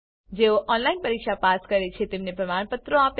જેઓ ઓનલાઈન પરીક્ષા પાસ કરે છે તેમને પ્રમાણપત્રો આપે છે